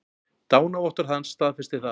Dánarvottorð hans staðfestir það.